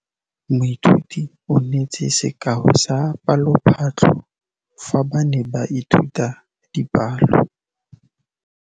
Moithuti o neetse sekaô sa palophatlo fa ba ne ba ithuta dipalo.